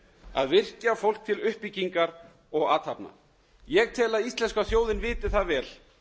að virkja fólk til uppbyggingar og athafna ég tel að íslenska þjóðin viti vel